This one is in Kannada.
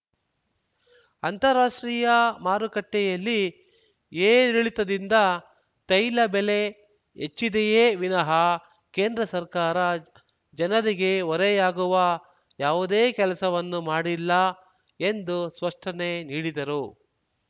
ಅಂತಾರಾಷ್ಟ್ರೀಯ ಮಾರುಕಟ್ಟೆಯಲ್ಲಿ ಏರಿಳಿತದಿಂದ ತೈಲಬೆಲೆ ಹೆಚ್ಚಿದೆಯೆ ವಿನಃ ಕೇಂದ್ರ ಸರ್ಕಾರ ಜನರಿಗೆ ಹೊರೆಯಾಗುವ ಯಾವುದೆ ಕೆಲಸವನ್ನು ಮಾಡಿಲ್ಲ ಎಂದು ಸ್ಪಷ್ಟನೆ ನೀಡಿದರು